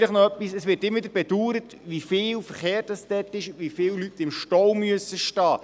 Vielleicht noch etwas: Es wird immer wieder bedauert, wie viel Verkehr es dort hat, wie viele Leute dort im Stau sehen müssen.